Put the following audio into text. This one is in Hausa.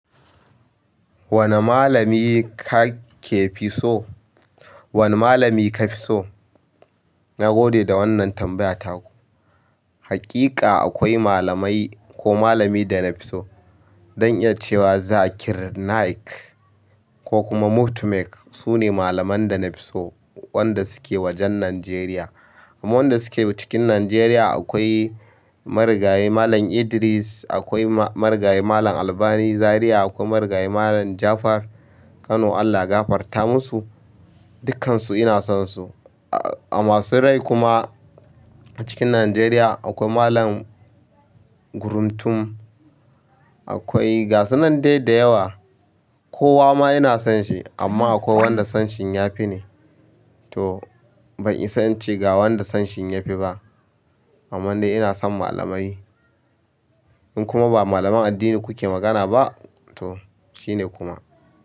Wani malami ka ke fi so? Wane malami ka fi so? Na gode da wannan tambaya taku. Haƙiƙa akwai malamai ko malami da na fi so. Don iya cewa Zakir Naik ko kuma Muftimenk su ne malaman da na fi so wanda suke wajen Najeriya. Amma wanda suke cikin Najeriya akwai marigayi Malam Idris, akwai marigayi Malam Albani Zariya, akwai margayi Malam Jafar Kano. Allah ya gafarta musu. Dukansu ina son su. A masu rai kuma a cikin Najeriya akwai Malam Guruntum, akwai gasunan dai da yawa. Kowa ma ina son shi amma akwai wanda son shin ya fi ne. To ban isa in ce ga wanda son shi ya fi ba. Amman dai ina son malamai in kuma ba malaman addini kuke magana ba to shi ne kuma.